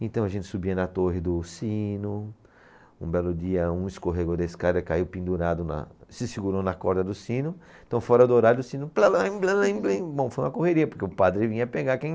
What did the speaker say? Então a gente subia na torre do sino, um belo dia um escorregou da escada, caiu pendurado, na, se segurou na corda do sino, então fora do horário do sino, plelem, blelem, blim. Bom, foi uma correria, porque o padre vinha pegar quem...